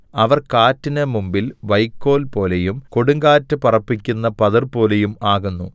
അവർ കാറ്റിന് മുമ്പിൽ വൈക്കോൽപോലെയും കൊടുങ്കാറ്റ് പറപ്പിക്കുന്ന പതിർപോലെയും ആകുന്നു